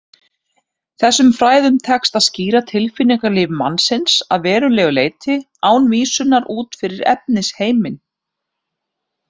Þessum fræðum tekst að skýra tilfinningalíf mannsins að verulegu leyti án vísunar út fyrir efnisheiminn.